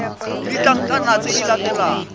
le ditlankana tse di latelang